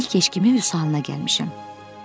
İlk eşkimə Vüsalına gəlmişəm.